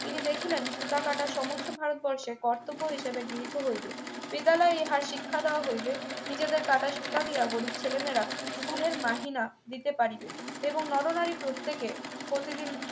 তিনি দেখিলেন সুতা কাটার সমস্ত ভারতবর্ষে কর্তব্য হিসেবে গৃহীত হইবে বিদ্যালয়ে ইহার শিক্ষা দেওয়া হইবে নিজেদের কাটা সুতা দিয়া গরিব ছেলেমেয়েরা school এর মাহিনা দিতে পারিবে এবং নরনারী প্রত্যেকে প্রতিদিন